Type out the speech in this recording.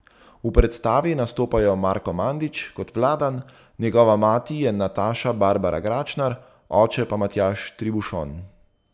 V predstavi nastopajo Marko Mandić kot Vladan, njegova mati je Nataša Barbara Gračner, oče pa Matjaž Tribušon.